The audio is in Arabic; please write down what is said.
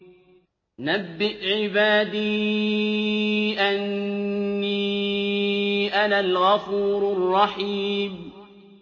۞ نَبِّئْ عِبَادِي أَنِّي أَنَا الْغَفُورُ الرَّحِيمُ